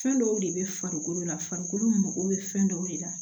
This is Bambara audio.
Fɛn dɔw de bɛ farikolo la farikolo mago bɛ fɛn dɔw de la